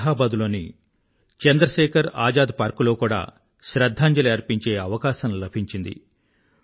అలహాబాద్ లోని చంద్రశేఖర్ ఆజాద్ పార్క్ లో కూడా శ్రధ్ధాంజలి అర్పించే అవకాశం లభించింది